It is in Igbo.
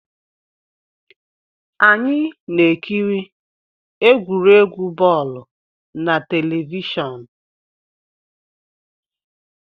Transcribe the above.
Anyị na-ekiri egwuregwu bọọlụ na telivishọn